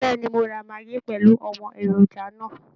Bẹ́ẹ̀ ni, mo ra maggi pẹ̀lú àwọn èròjà náà